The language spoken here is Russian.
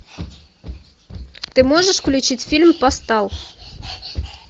ты можешь включить фильм постал